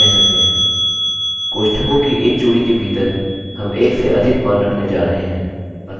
कोष्ठकों की एक जोड़ी के भीतर हम एक से अधिक मान रखने जा रहे हैं